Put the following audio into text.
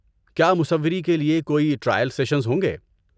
کیا مصوری کے لیے کوئی ٹرائل سیشنز ہوں گے؟